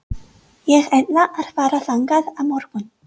Ég ætla að fara þangað á morgun.